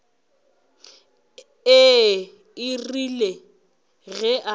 ee e rile ge a